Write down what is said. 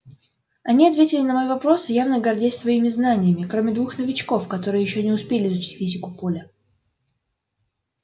они ответили на мои вопросы явно гордясь своими знаниями кроме двух новичков которые ещё не успели изучить физику поля